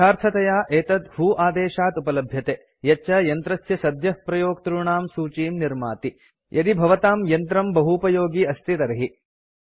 यथार्थतया एतत् व्हो आदेशात् उपलभ्यते यच्च यन्त्रस्य सद्यः प्रयोक्तॄणां सूचीं निर्माति यदि भवताम् यन्त्रं बहूपयोगि अस्ति तर्हि